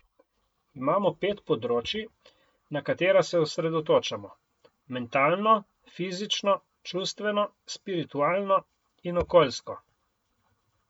Imamo pet področij, na katera se osredotočamo, mentalno, fizično, čustveno, spiritualno in okoljsko.